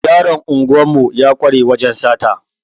Yaron unguwar mu ya kware wajan sata